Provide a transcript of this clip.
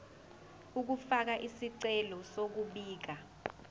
ukufaka isicelo sokubika